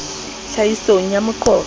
tlhahisong ya moqo qo o